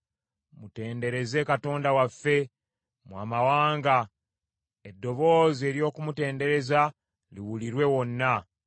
Mutendereze Katonda waffe, mmwe amawanga; eddoboozi ery’okumutendereza liwulirwe wonna.